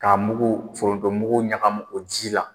Ka mugu foronto mugu ɲagamu o ji la.